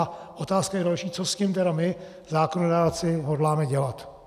A otázka je další, co s tím tedy my zákonodárci hodláme dělat.